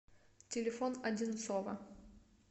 телефон одинцово